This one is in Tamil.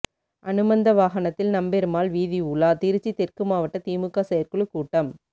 அனுமந்த வாகனத்தில் நம்பெருமாள் வீதிஉலா திருச்சி தெற்கு மாவட்ட திமுக செயற்குழு கூட்டம்